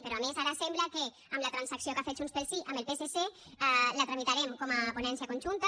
però a més ara sembla que amb la transacció que ha fet junts pel sí amb el psc la tramitarem com a ponència conjunta